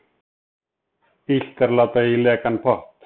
Illt er láta í lekan pott.